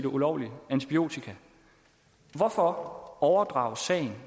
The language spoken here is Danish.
ulovligt antibiotika hvorfor overdrages sagen